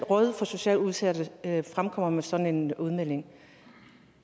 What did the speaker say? rådet for socialt udsatte kommer med sådan en udmelding